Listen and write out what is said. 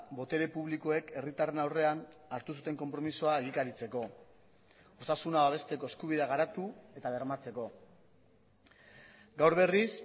botere publikoek herritarren aurrean hartu zuten konpromisoa egikaritzeko osasuna babesteko eskubidea garatu eta bermatzeko gaur berriz